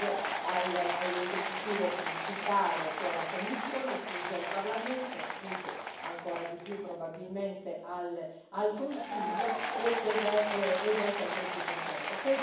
Sfugge all'esecutivo principale che è la Commissione, sfugge al Parlamento, sfugge ancora di più probabilmente al Consiglio, ed è sempre più complesso.